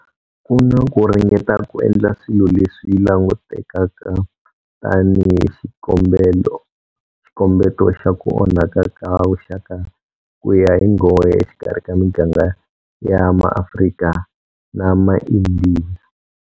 Ku na ku ringeta ku endla swilo leswi languteka tanihi xikombeto xa ku onhaka ka vuxaka ku ya hi nghohe exikarhi ka miganga ya maAfrika na maIndiya.